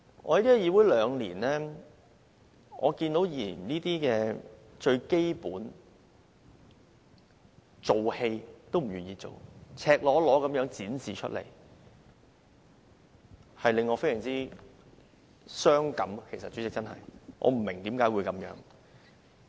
我在議會兩年，看見議員連最基本的一場戲也不願意演，這是赤裸裸地展示出來的，令我真的非常傷感，代理主席，我不明白為何會這樣。